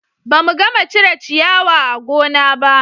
Ba mu gama cire ciyawa a gona ba